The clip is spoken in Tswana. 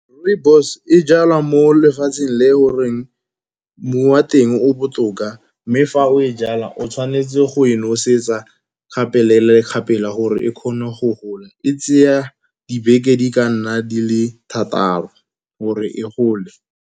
Rooibos e jalwa mo lefatsheng le goreng mmu wa teng o botoka, mme fa o e jala o tshwanetse go e nosetsa gapela le gapela gore e kgone go gola. E tseya dibeke di ka nna di le thataro gore e gole.